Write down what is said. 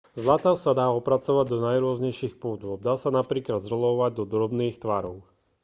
zlato sa dá opracovať do najrôznejších podôb dá sa napríklad zrolovať do drobných tvarov